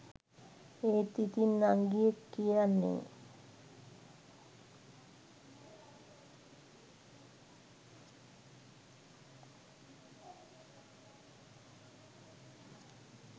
ඒත් ඉතින් නංගියෙක් කියන්නේ